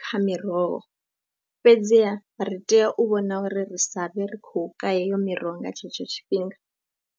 kha miroho, fhedziha ri tea u vhona uri ri sa vhe ri khou ka heyo miroho nga tshetsho tshifhinga.